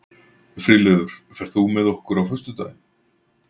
Friðleifur, ferð þú með okkur á föstudaginn?